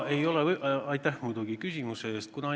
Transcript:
Aitäh küsimuse eest!